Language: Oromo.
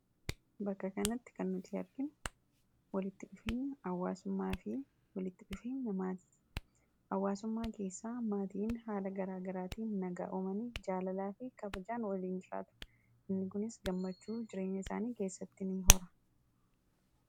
Bakka kanatti kan nuti arginu wanti walitti dhufeenya maatii fi hawwaasummaati maatiin haala garaagaraatiin nagaa uumanii jaalalaa fi kabajaan waliin jiraatu. Inni kunis gammachuu jiraenya isaanii keessatti ni hora.